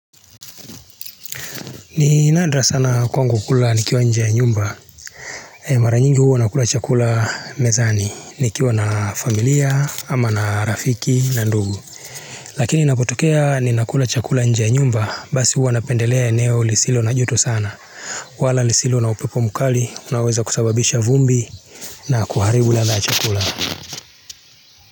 Ni nadra sana kwangu kula nikiwa nje ya nyumba Mara nyingi huwa nakula chakula mezani nikiwa na familia ama na rafiki na ndugu Lakini inapotokea ninakula chakula nje ya nyumba basi huwa napendelea eneo lisilo na joto sana wala lisilo na upepo mkali unaoweza kusababisha vumbi na kuharibu ladha ya chakula.